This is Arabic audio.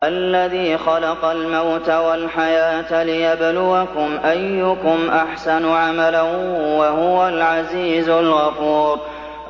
الَّذِي خَلَقَ الْمَوْتَ وَالْحَيَاةَ لِيَبْلُوَكُمْ أَيُّكُمْ أَحْسَنُ عَمَلًا ۚ وَهُوَ الْعَزِيزُ الْغَفُورُ